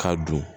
Ka don